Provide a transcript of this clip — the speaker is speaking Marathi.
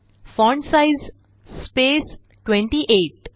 font size space 28